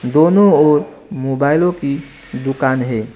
दोनों और मोबाइलों की दुकान है।